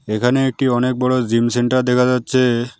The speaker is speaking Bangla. এখানে একটি অনেক বড়ো জিম সেন্টার দেখা যাচ্ছে।